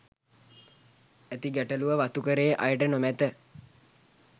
ඇති ගැටලුව වතුකරයේ අයට නොමැත